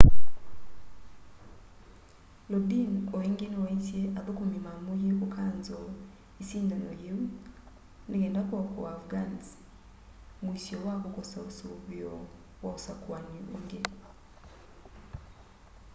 lodin o ingi niwaisye athukumi mamuie kukanzoo isindano yiu nikenda kuokoa afghans muisyo wa kukosa usuvio wa usakuani ungi